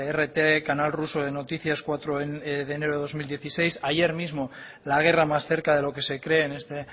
rt canal ruso de noticias cuatro de enero de dos mil dieciséis ayer mismo la guerra más cerca de lo que se cree en este